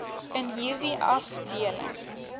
in hierdie afdeling